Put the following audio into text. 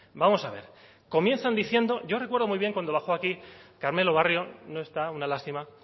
vamos a ver comienzan diciendo yo recuerdo muy bien cuando bajó aquí carmelo barrio no está una lástima